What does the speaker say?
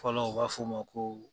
Fɔlɔ u b'a fɔ o ma ko.